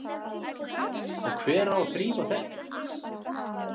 Og hver á að þrífa þetta?